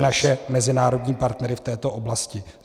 I naše mezinárodní partnery v této oblasti.